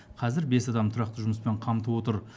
қазір бес адамды тұрақты жұмыспен қамтып отыр